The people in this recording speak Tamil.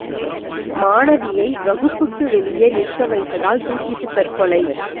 மாணவியை வகுப்புக்கு வெளியே நிற்க வைத்ததால் தூக்கிட்டு தற்கொலை